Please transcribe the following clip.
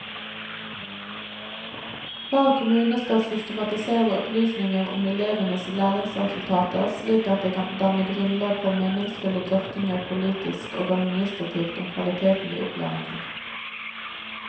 Hver kommune skal systematisere opplysninger om elevenes læringsresultater slik at det kan danne grunnlag for meningsfulle drøftinger politisk og administrativt om kvaliteten i opplæringen.